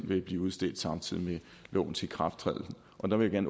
vil blive udstedt samtidig med lovens ikrafttræden og der vil jeg